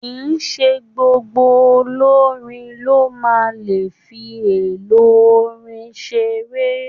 Kìíse gbogbo olorin lo máa n le fi èlò orin seré.